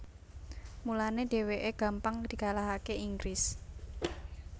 Mulané dhèwèké gampang dikalahaké Inggris